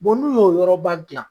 n'u y'o yɔrɔba gilan